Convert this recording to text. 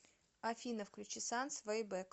афина включи санс вэй бэк